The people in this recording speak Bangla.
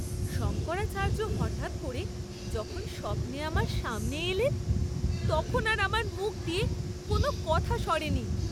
শঙ্করাচার্য হঠাৎ করে যখন স্বপ্নে আমার সামনে এলেন, তখন আর আমার মুখ দিয়ে কোনো কথা সরেনি!